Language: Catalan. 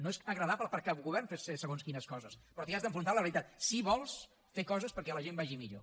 no és agradable per a cap govern fer segons quines coses però t’hi has d’enfrontar amb la realitat si vols fer coses perquè la gent vagi millor